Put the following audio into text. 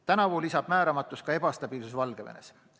Tänavu lisab määramatust ka ebastabiilsus Valgevenes.